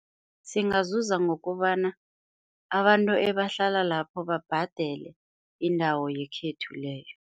Singazuza ngokobana abantu ebahlala lapho babhadele indawo yekhethu leyo.